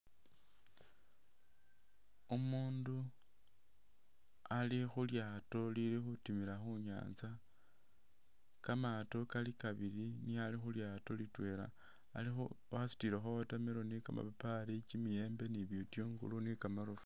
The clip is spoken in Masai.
Umundu ali khu lyaato lili khutimila khu nyaanza, kamaato kali kabili niye ali khutimila khu litwela alikho wasutilekho water melon, kamapapali, kimiyembe, bitungulu ni kamarofu.